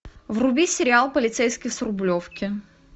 вруби сериал полицейский с рублевки